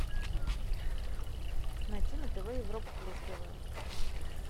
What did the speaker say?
найти на тв европа плюс тв